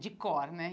de cor, né?